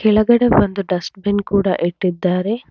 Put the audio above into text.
ಕೆಳಗಡೆ ಒಂದು ಡಸ್ಟ್ಬಿನ್ ಕೂಡ ಇಟ್ಟಿದ್ದಾರೆ.